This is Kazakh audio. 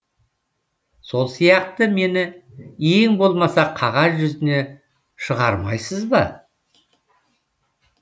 сол сияқты мені ең болмаса қағаз жүзіне шығармайсыз ба